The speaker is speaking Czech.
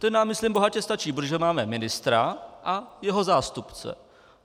Ten nám, myslím, bohatě stačí, protože máme ministra a jeho zástupce.